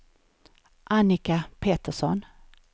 Annika Petersson